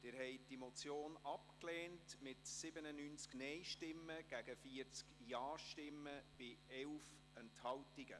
Sie haben die Motion abgelehnt mit 97 Nein- gegen 40 Ja-Stimmen bei 11 Enthaltungen.